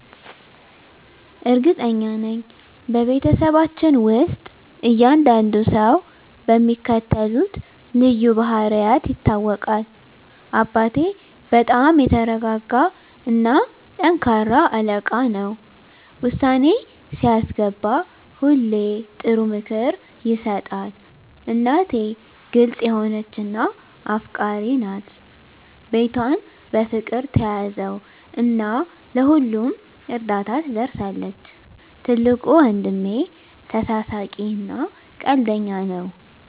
እርግጠኛ ነኝ፤ በቤተሰባችን ውስጥ እያንዳንዱ ሰው በሚከተሉት ልዩ ባህሪያት ይታወቃል - አባቴ በጣም የተረጋጋ እና ጠንካራ አለቃ ነው። ውሳኔ ሲያስገባ ሁሌ ጥሩ ምክር ይሰጣል። **እናቴ** ግልጽ የሆነች እና አፍቃሪች ናት። ቤቷን በፍቅር ትያዘው እና ለሁሉም እርዳታ ትደርሳለች። **ትልቁ ወንድሜ** ተሳሳቂ እና ቀልደኛ ነው።